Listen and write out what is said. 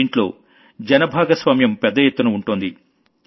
దీంట్లో జన భాగ్యస్వామ్యం పెద్ద ఎత్తున ఉంటోంది